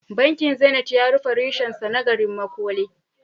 Bankin Zenith ya rufe reshensa na garin Makole.